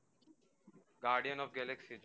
Guardian of the Galaxy